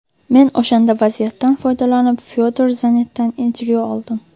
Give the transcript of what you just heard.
Men o‘shanda vaziyatdan foydalanib Fyodor Zanetdan intervyu oldim.